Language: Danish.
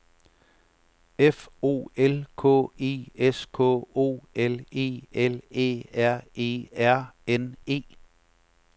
F O L K E S K O L E L Æ R E R N E